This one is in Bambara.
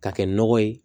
K'a kɛ nɔgɔ ye